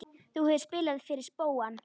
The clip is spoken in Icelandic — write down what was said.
Þú hefur spilað fyrir spóann?